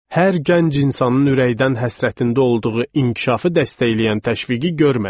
Hər gənc insanın ürəkdən həsrətində olduğu inkişafı dəstəkləyən təşviqi görmədik.